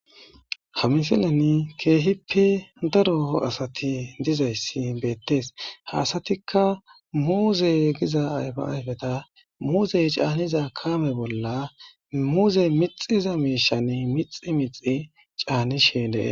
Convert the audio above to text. Ha misilan keehippe daro asati dizayssi beettees haasatikka muuze giza ayfaayfeta muuzey caaniza kaame bolla muuze mixiza miishan mixi mixi caanishen dee.